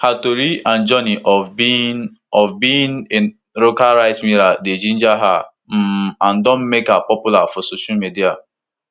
her tori and journey of being of being a local rice miller dey ginger her um and don make her popular for social media